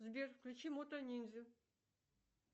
сбер включи мото ниндзя